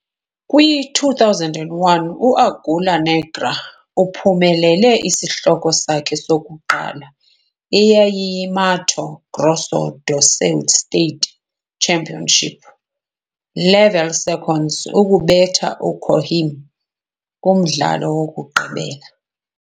Kwi-2001, u-Águia Negra uphumelele isihloko sakhe sokuqala, eyayiyiMato Grosso do Sul State Championship Level Second, ukubetha uCoxim kumdlalo wokugqibela.